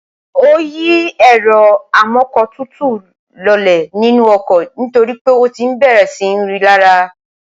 ó yí ẹ̀rọ amọ́kọ̀tutù lọlẹ̀ nínú ọkọ̀ nítorí pé ó ti bẹ̀rẹ̀ sí ń rí i lárá